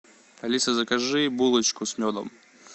алиса закажи булочку с медом